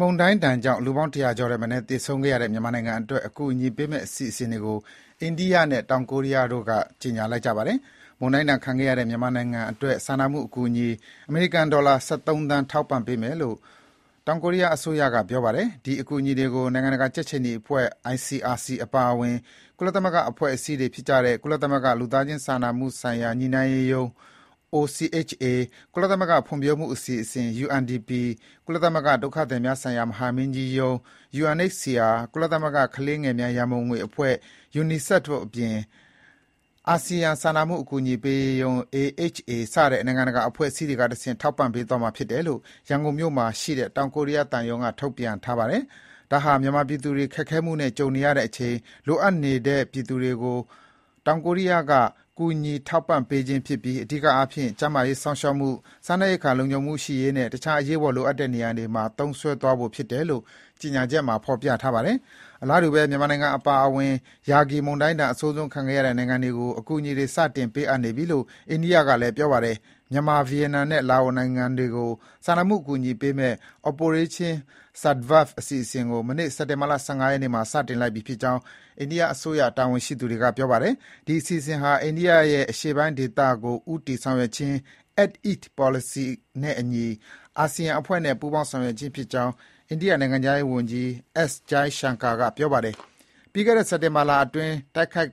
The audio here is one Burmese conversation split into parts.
မုန်တိုင်းဒဏ်ကြောင့် လူပေါင်း ၁၀၀ ကျော်ထက်မနည်း သေဆုံးခဲ့တဲ့ မြန်မာနိုင်ငံအတွက် အကူအညီပေးမယ့် အစီအစဉ်တွေကို အိန္ဒိယနဲ့ ကိုရီးယားနိုင်ငံတို့က ကြေညာလိုက်ကြပါတယ်။ မုန်တိုင်းဒဏ်ခံခဲ့ရတဲ့ မြန်မာနိုင်ငံအတွက် စာနာမှုအကူအညီ အမေရိကန်ဒေါ်လာ ၁၃ သန်း ထောက်ပံ့ပေးမယ်လို့ ကိုရီးယားအစိုးရက ပြောပါတယ်။ ဒီအကူအညီတွေကို နိုင်ငံတကာ ကြက်ခြေနီအဖွဲ့ (ICRC) အပါအဝင် ကုလသမဂ္ဂ အဖွဲ့အစည်းတွေဖြစ်ကြတဲ့ ကုလသမဂ္ဂ လူသားချင်းစာနာမှုဆိုင်ရာ ညှိနှိုင်းရေးရုံး (OCHA) ၊ ကုလသမဂ္ဂဖွံ့ဖြိုးမှုအစီအစဉ် (UNDP) ၊ ကုလသမဂ္ဂ ဒုက္ခသည်များဆိုင်ရာ မဟာမင်းကြီးရုံး (UNHCR) ၊ ကုလသမဂ္ဂ ကလေးငယ်များရံပုံငွေအဖွဲ့ (UNICEF) အပြင် အာဆီယံ လူသားချင်းစာနာမှု အကူအညီပေးရေးဆိုင်ရာ ညှိနှိုင်းရေးစင်တာ(AHA Centre) စတဲ့ နိုင်ငံတကာ အဖွဲ့အစည်းတွေကတဆင့် ထောက်ပံ့ပေးသွားမှာဖြစ်တယ်လို့ ရန်ကုန်မြို့မှာရှိတဲ့ တောင်ကိုရီးယားသံရုံးက ထုတ်ပြန်ပါတယ်။ ဒါဟာ မြန်မာပြည်သူတွေ ခက်ခဲမှုနဲ့ကြုံတွေ့နေရချိန် လိုအပ်နေတဲ့ပြည်သူတွေကို တောင်ကိုရီးယားက ကူညီထောက်ပံ့ပေးခြင်းဖြစ်ပြီး အဓိကအားဖြင့် ကျန်းမာရေးစောင့်ရှောက်မှု၊ စားနပ်ရိက္ခာလုံခြုံမှုရှိရေးနဲ့ တခြား အရေးပေါ်လိုအပ်တဲ့နေရာတွေမှာ သုံးစွဲသွားဖို့ ဖြစ်တယ်လို့ ကြေညာချက်မှာ ဖော်ပြထားပါတယ်။ အလားတူဘဲ မြန်မာနိုင်ငံ အပါအဝင် ရာဂိမုန်တိုင်းဒဏ် အဆိုးဆုံးခံခဲ့ရတဲ့ နိုင်ငံတွေကို အကူအညီတွေ စတင်ပေးအပ်နေပြီလို့ အိန္ဒိယက ပြောပါတယ်။ မြန်မာ၊ ဗီယက်နမ်နဲ့ လာအိုနိုင်ငံတွေကို စာနာမှုအကူအညီပေးမယ့် Operation Sadbhav အစီအစဉ်ကို မနေ့ စက်တင်ဘာ ၁၅ ရက်နေ့မှာ စတင်လိုက်ပြီဖြစ်ကြောင်း အိန္ဒိယအစိုးရ တာဝန်ရှိသူတွေက ကြေညာလိုက်တာပါ။ ဒီအစီအစဉ်ဟာ အိန္ဒိယရဲ့ အရှေ့ပိုင်းဒေသကို ဦးတည်ဆောင်ရွက်ခြင်း "Act East" ပေါ်လစီနဲ့အညီ အာဆီယံအဖွဲ့နဲ့ ပူးပေါင်း ဆောင်ရွက်ခြင်းဖြစ်ကြောင်း အိန္ဒိယနိုင်ငံခြားရေးဝန်ကြီး S. Jaishankar က X လူမှုကွန်ယက်မှာ ရေးပါတယ်။ ပြီးခဲ့တဲ့ သီတင်းပတ်အတွင်း တိုက်ခတ်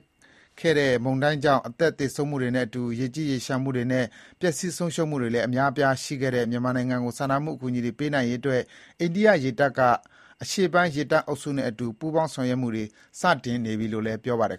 ခဲ့တဲ့ မုန်တိုင်းကြောင့် အသက်သေဆုံးမှုတွေနဲ့အတူ ရေကြီးရေလျှံမှုတွေနဲ့ ပျက်ဆီး ဆုံးရှုံးမှုတွေလည်း အများအပြား ရှိခဲ့တဲ့ မြန်မာနိုင်ငံကို စာနာမှုအကူအညီတွေပေးနိုင်ရေးအတွက် အိန္ဒိယရေတပ်က အရှေ့ပိုင်း ရေတပ်အုပ်စုနဲ့အတူ ပူးပေါင်း ဆောင်ရွက်မှုတွေ စတင်နေပြီလို့လည်း ပြောပါတယ်